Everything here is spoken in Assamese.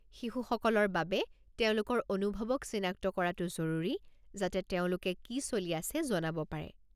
শিশুসকলৰ বাবে তেওঁলোকৰ অনুভৱক চিনাক্ত কৰাটো জৰুৰী যাতে তেওঁলোকে কি চলি আছে জনাব পাৰে।